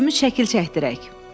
Üçümüz şəkil çəkdirək.